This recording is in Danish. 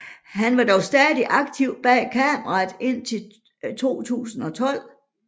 Han var dog stadig aktiv bag kameraet indtil 2012